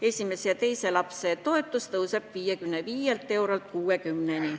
Esimese ja teise lapse toetus tõuseb 55 eurolt 60 euroni.